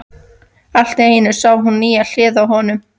Allt í einu sá hún nýja hlið á honum.